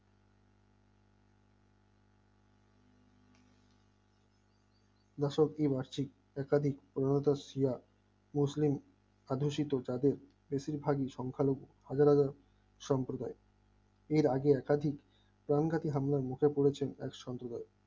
বছর দিন আসছে অত্যাধিক উন্নত শ্রীয়া প্রশ্ন অথচ তাদের বেশিরভাগের সংখ্যালঘু হাজার হাজার সম্প্রদায়ের এর আগে অত্যাধিক চরম ঘাঁটি হামলার মুখে পড়েছে এক সম্প্রদায়ক